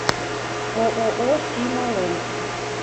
ооо сима ленд